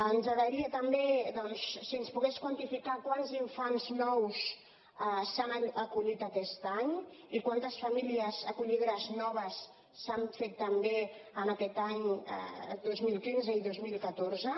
ens agradaria també doncs si ens pogués quantificar quants infants nous s’han acollit aquest any i quantes famílies acollidores noves s’han fet també en aquests anys dos mil quinze i dos mil catorze